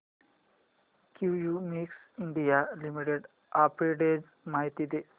Cummins India limited arbitrage माहिती दे